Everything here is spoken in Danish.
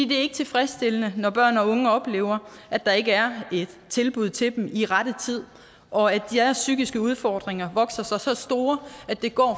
det er ikke tilfredsstillende når børn og unge oplever at der ikke er et tilbud til dem i rette tid og at deres psykiske udfordringer vokser sig så store at det går